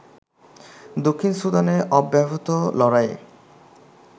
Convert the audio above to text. দক্ষিণ সুদানে অব্যাহত লড়াইয়ে